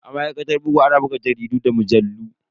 A ma'aikatar bugu ana buga jaridu da mujallu.